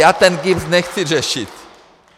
Já ten GIBS nechci řešit.